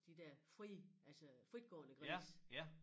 De der frie altså fritgående grise